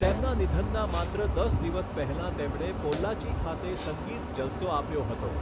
તેમના નિધનના માત્ર દસ દિવસ પહેલાં તેમણે પોલ્લાચી ખાતે સંગીત જલસો આપ્યો હતો.